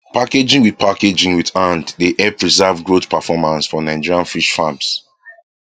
packaging with packaging with hand dey help preserve growth performance for nigerian fish farms